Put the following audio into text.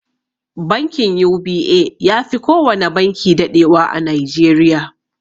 Bankin UBA yafi kowana banki daɗewa a nigeria.